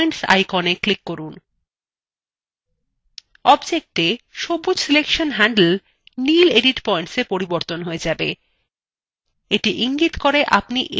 objectএ সবুজ selection handle নীল edit points পরিবর্তন হয়ে যাবে এটি ইঙ্গিত করে আপনি edit পয়েন্টস mode রয়েছে